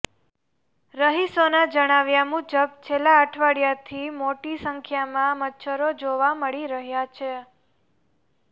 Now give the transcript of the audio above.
રહીશોના જણાવ્યા મુજબ છેલ્લા અઠવાડિયાથી મોટી સંખ્યામાં મચ્છરો જોવા મળી રહ્યા છે